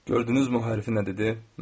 Gördünüz, o herif nə dedi?